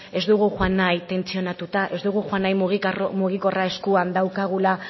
ez dugu joan nahi tentsionatuta ez dugu joan nahi mugikorra eskuan daukagula